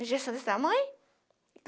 A injeção desse tamanho.